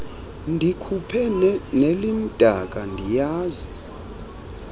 ndikhuphe nelimdaka ndiyazi